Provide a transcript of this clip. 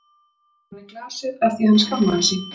Flúði frá henni ofan í glasið af því að hann skammaðist sín.